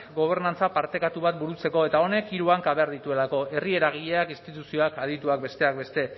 gobernantza partekatu bat burutzeko eta honek hiru hanka behar dituelako herri eragileak instituzioak adituak besteak beste